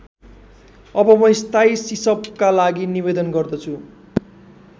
अब म स्थायी सिसपका लागि निवेदन गर्दैछु।